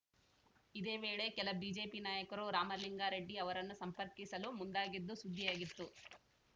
ಇದೇ ವೇಳೆ ಕೆಲ ಬಿಜೆಪಿ ನಾಯಕರು ರಾಮಲಿಂಗಾರೆಡ್ಡಿ ಅವರನ್ನು ಸಂಪರ್ಕಿಸಲು ಮುಂದಾಗಿದ್ದು ಸುದ್ದಿಯಾಗಿತ್ತು